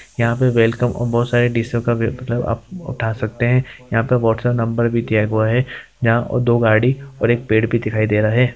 यहाँ पे वेलकम और ब बहुत सारी डिशो का भी उठा सकते हैं| यहाँ वाट्सऐप नंबर भी दिया हुआ है| यहाँ दो गाड़ी और एक पेड़ भी दिखाई दे रहा है।